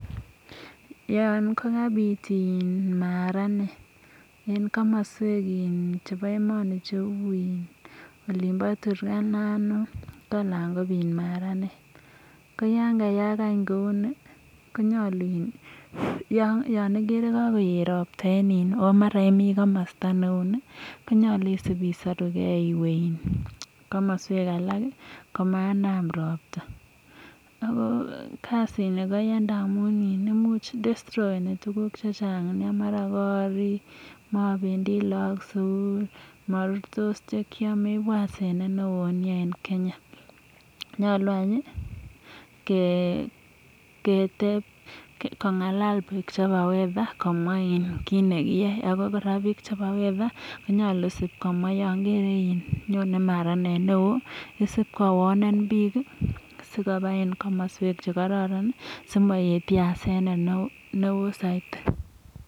yan kabit eng komaswek che uchu eng olonbo turkana north . ko yakabit maranet neu ni ana imi komasta ne uni ko nyalu sibisarukei komanam robta. ko kasini ko yachei destroeni tuguk chechamg mara koba robta kot . ipu asenet neo nea eng kenya. nyalu anyun kongala bik che bo weather komwa kit nekiaei yo nyone maranet neu ni sib kowarnen bik koba si maet yasenet neo saidi